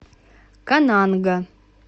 кананга